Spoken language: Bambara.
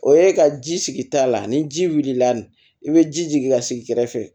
O ye ka ji sigi ta la ani ji wulila i bɛ ji jigin ka sigi kɛrɛfɛ